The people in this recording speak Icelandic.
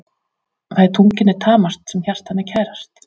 Það er tungunni tamast sem hjartanu er kærast.